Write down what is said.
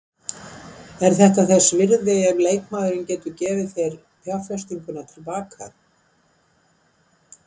Er þetta þess virði ef leikmaðurinn getur gefið þér fjárfestinguna til baka?